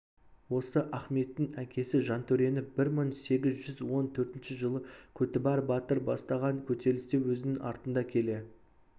осы ахметтің әкесі жантөрені бір мың сегіз жүз он төртінші жылы көтібар батыр бастаған көтерілісте өзінің артында келе